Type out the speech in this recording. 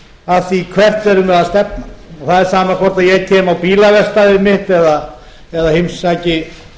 að því hvert erum við að stefna það er sama hvort ég kem á bílaverkstæðið mitt eða heimsæki